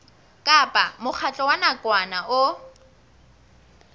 kapa mokgatlo wa nakwana o